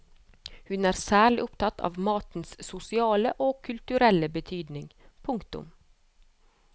Hun er særlig opptatt av matens sosiale og kulturelle betydning. punktum